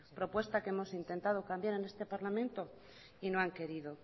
propuesta que hemos intentado cambiar en este parlamento y no han querido